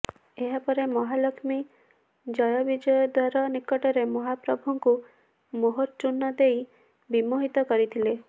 ଏହାପରେ ମହାଲକ୍ଷ୍ମୀ ଜୟବିଜୟ ଦ୍ୱାର ନିକଟରେ ମହାପ୍ରଭୁଙ୍କୁ ମୋହଚୂର୍ଣ୍ଣ ଦେଇ ବିମୋହିତ କରିଥିଲେ